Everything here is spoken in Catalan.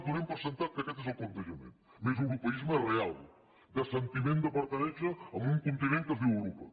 donem per fet que aquest és el plantejament més europeisme real de sentiment de pertinença a un continent que es diu europa